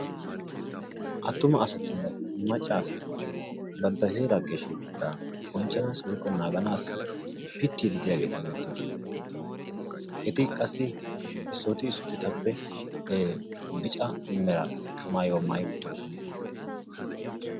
attuma asatinne macca asaati bantta heera geshshatetta bonchchanassi woykko naaganassi pitiidi de'iyaageeti beettoosona. eti qassi issoti issoti etappe bicca meraa maayuwaa maayi uttidoosona.